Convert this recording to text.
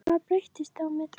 En hvað breyttist á milli?